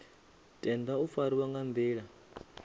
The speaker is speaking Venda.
tenda u fariwa nga nḓila